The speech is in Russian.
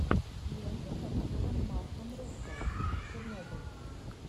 лента с актером марком руффало чернобыль